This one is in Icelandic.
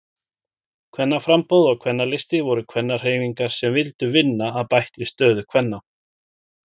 Kvennaframboð og Kvennalisti voru kvennahreyfingar sem vildu vinna að bættri stöðu kvenna.